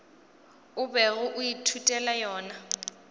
o bego o ithutela yona